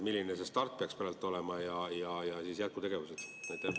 Milline see start peaks praegu olema ja jätkutegevused?